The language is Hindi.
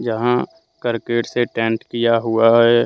यहाँ करकट से टेंट किया हुआ है।